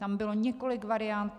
Tam bylo několik variant.